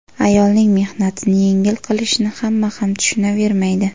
Ayolning mehnatini yengil qilishni hamma ham tushunavermaydi.